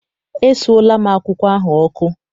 Esuola m akwụkwọ ahụ ọkụ.